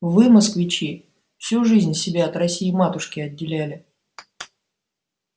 вы москвичи всю жизнь себя от россии-матушки отделяли